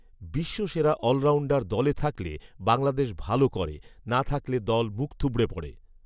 বিশ্বসেরা allrounder দলে থাকলে বাংলাদেশ ভালো করে, না থাকলে দল মুখথুবড়ে পড়ে